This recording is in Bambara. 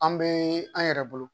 An bɛ an yɛrɛ bolo